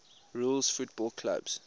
rules football clubs